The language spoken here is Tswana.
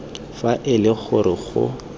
fa e le gore go